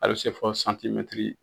A bi se fo